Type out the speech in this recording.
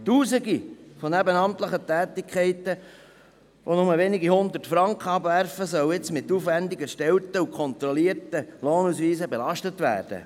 Tausende von nebenamtlichen Tätigkeiten, welche lediglich wenige Hundert Franken abwerfen, sollen nun mit aufwendig erstellten und kontrollierten Lohnausweisen belastet werden.